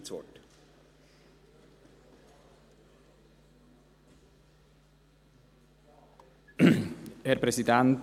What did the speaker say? Dem Grossen Rat wird beantragt, nur eine Lesung durchzuführen.